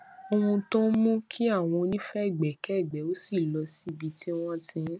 ohun tó ń mú kí àwọn onífègbékègbé ò ṣí lọ sí ibi tí wọn ti ń